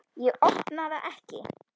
Ég opna það ekki.